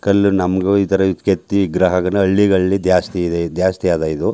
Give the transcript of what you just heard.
ಕಲ್ಲು ನಮ್ಮಗೂ ಇತರ ಕೆತ್ತಿ ಗ್ರಹಗನಹಳ್ಳಿಗಳಲ್ಲಿ ಜಾಸ್ತಿ ಇದೆ ಜಾಸ್ತಿ ಅದ್ ಇದು.